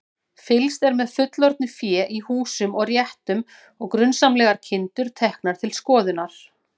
Fylgst er með fullorðnu fé í húsum og réttum og grunsamlegar kindur teknar til skoðunar.